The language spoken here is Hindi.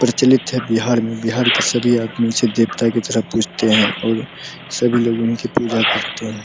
प्रचलित है बिहार में बिहार के सभी आदमी इसे देवता की तरह पूजते हैं और सभी लोग उनकी पूजा करते हैं।